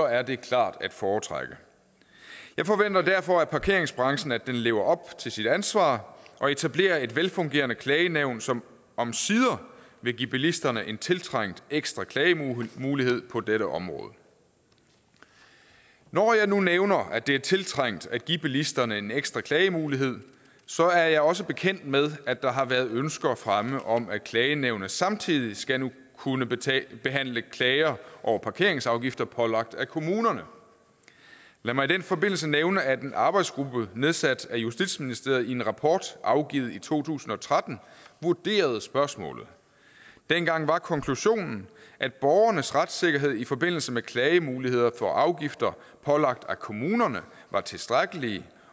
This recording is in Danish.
er det klart at foretrække jeg forventer derfor af parkeringsbranchen at den lever op til sit ansvar og etablerer et velfungerende klagenævn som omsider vil give bilisterne en tiltrængt ekstra klagemulighed på dette område når jeg nu nævner at det er tiltrængt at give bilisterne en ekstra klagemulighed så er jeg også bekendt med at der har været ønsker fremme om at klagenævnet nu samtidig skal kunne behandle klager over parkeringsafgifter pålagt af kommunerne lad mig i den forbindelse nævne at en arbejdsgruppe nedsat af justitsministeriet i en rapport afgivet i to tusind og tretten vurderede spørgsmålet dengang var konklusionen at borgernes retssikkerhed i forbindelse med klagemuligheder for afgifter pålagt af kommunerne var tilstrækkelige